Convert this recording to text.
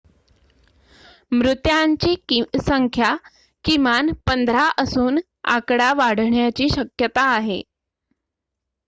मृत्यांची संख्या किमान १५ असून आकडा वाढण्याची शक्यता आहे